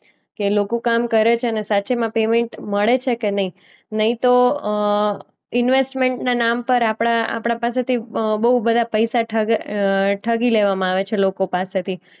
કે લોકો કામ કરે છેને? સાચેમાં પેમેન્ટ મળે છે કે નહીં? નહીં તો અમ ઈન્વેસ્ટમેન્ટના નામ પર આપણા આપણા પાસેથી અ બોઉ બધા પૈસા ઠગ અ ઠગી લેવામાં આવે છે લોકો પાસેથી.